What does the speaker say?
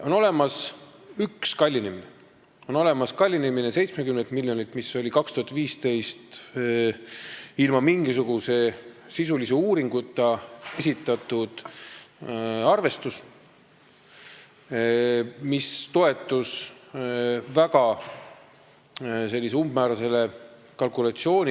On olemas üks kallinemine: 70 miljonilt eurolt, mis oli 2015. aastal ilma mingisuguse sisulise uuringuta esitatud arvestus ja toetus umbmäärasele kalkulatsioonile.